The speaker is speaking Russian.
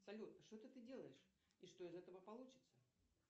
салют что это ты делаешь и что из этого получится